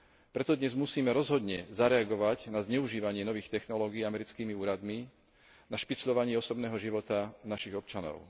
Preto dnes musíme rozhodne zareagovať na zneužívanie nových technológií americkými úradmi, na špicľovanie osobného života našich občanov.